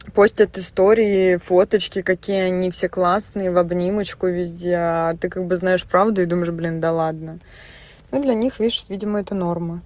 пустят истории фоточки какие они все классные в обнимочку везде а ты как бы знаешь правду думаешь блин да ладно ну для них видимо это норма